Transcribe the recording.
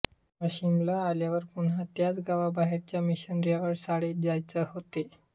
वाशीमला आल्यावर पुन्हा त्याच गावाबाहेरच्या मिशनऱ्यांच्या शाळेत जायचे होते